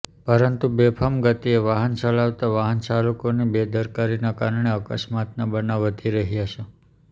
પરંતુ બેફામ ગતીએ વાહન ચલાવતા વાહન ચાલકોની બેદરકારીના કારણે અકસ્માતના બનાવ વધી રહ્યા છે